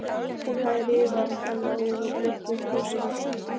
Hún hafði rifið hana úr reikningsbókinni.